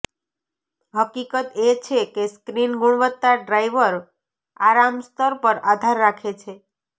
હકીકત એ છે કે સ્ક્રીન ગુણવત્તા ડ્રાઈવર આરામ સ્તર પર આધાર રાખે છે